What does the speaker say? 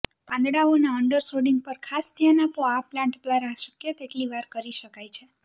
પાંદડાઓના અંડરસોડિંગ પર ખાસ ધ્યાન આપો આ પ્લાન્ટ દ્વારા શક્ય તેટલી વાર કરી શકાય છે